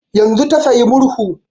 Yanzun ta saya murhu